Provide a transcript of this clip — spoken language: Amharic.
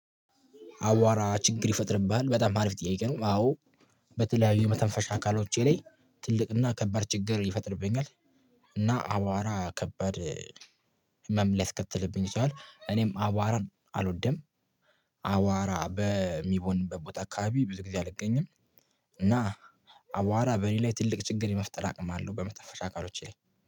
አቧራ ችግር ይፈጥርብሃል በጣም አሪፍ ጥያቄ ነው? አዎ በተለያዩ የመተንፈሻ አካሎቼ ላይ ትልቅና ከባድ ችግር ይፈጥርብኛል። እና አቧራ ከባድ ህመም ላይ ሊያስከትልብኝ የችላል እኔም አቧራን አልወደም። አቧራ በሚቦንበት አካባቢ ብዙ ጊዜ አልገኝም። እና አቧራ በእኔ ላይ ትልቅ ችግር የመፍጠር አቅም አለው በመተንፈሻ አካሎቼ ላይ